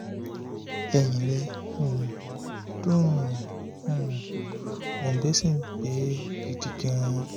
ẹ̀yìn rẹ̀ um dùn ún um òǹgbẹ sì ń gbẹ ẹ́ gidi gan-an